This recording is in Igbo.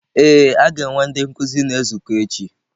Ee, a ga-enwe ndị nkuzi na-ezukọ echi.